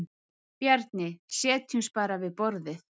Bjarni: Setjumst bara við borðið.